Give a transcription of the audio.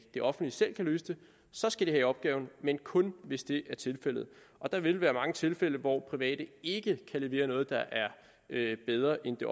det offentlige selv kan løse den så skal de have opgaven men kun hvis det er tilfældet og der vil være mange tilfælde hvor private ikke kan levere noget der er bedre end det